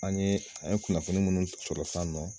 An ye an ye kunnafoni munnu sɔrɔ san nɔ